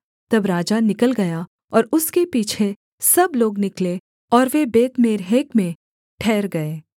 तब राजा निकल गया और उसके पीछे सब लोग निकले और वे बेतमेर्हक में ठहर गए